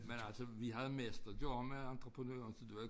Men altså vi havde mest at gøre med entreprenøren så det var ik